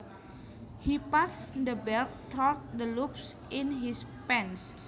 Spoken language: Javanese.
He passed the belt through the loops in his pants